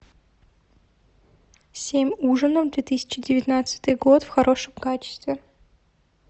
семь ужинов две тысячи девятнадцатый год в хорошем качестве